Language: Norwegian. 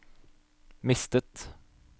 mistet